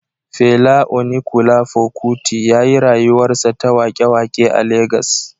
Fela Onikulafo Kuti ya yi rayuwarsa ta waƙe-waƙe a Legas.